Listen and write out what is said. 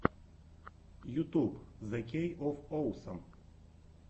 ютюб зе кей оф оусам